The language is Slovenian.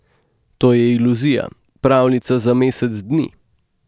To je iluzija, pravljica za mesec dni.